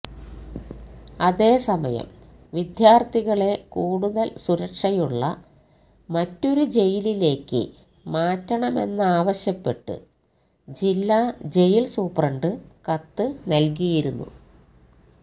അതേസമയം വിദ്യാർഥികളെ കൂടുതൽ സുരക്ഷയുള്ള മറ്റൊരു ജയിലിലേക്ക് മാറ്റണമെന്നാവശ്യപ്പെട്ട് ജില്ലാ ജയിൽ സൂപ്രണ്ട് കത്ത് നൽകിയിരുന്നു